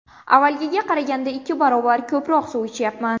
Avvalgiga qaraganda ikki baravar ko‘proq suv ichyapman.